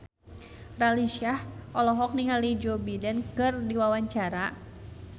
Raline Shah olohok ningali Joe Biden keur diwawancara